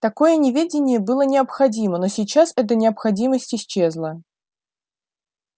такое неведение было необходимо но сейчас эта необходимость исчезла